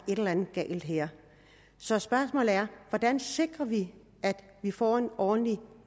er et eller andet galt her så spørgsmålet er hvordan sikrer vi at vi får en ordentlig